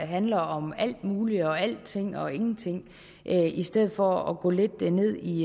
handler om alt muligt og alting og ingenting i stedet for at gå lidt ned i